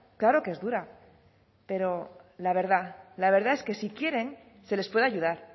claro que es dura pero la verdad la verdad es que si quieren se les puede ayudar